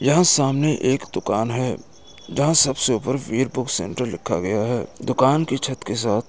यहाँ सामने एक दुकान हैं जहाँ सबसे ऊपर वीर बुक सेंटर लिखा गया हैं दुकान के छत के साथ --